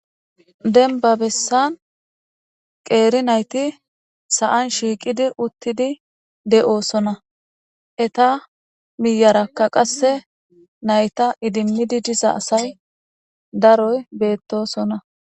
denba bessan qeeri nayti sa'an shiiqidi uttidi de'oosona eta miyarakka qasse nayta idimmidi diza asay daroy beettosona